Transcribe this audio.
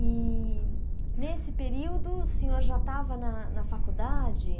E nesse período o senhor já estava na na faculdade?